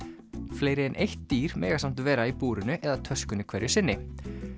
fleiri en eitt dýr mega samt vera í búrinu eða töskunni hverju sinni